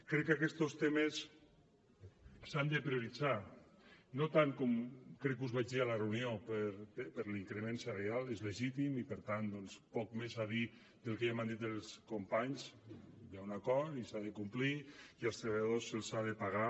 crec que aquestos temes s’han de prioritzar no tant com crec que us ho vaig dir a la reunió per l’increment salarial és legítim i per tant doncs poc més a dir del que ja han dit els companys hi ha un acord i s’ha de complir i als treballadors se’ls ha de pagar